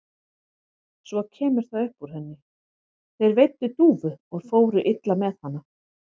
Svo kemur það upp úr henni: Þeir veiddu dúfu og fóru illa með hana.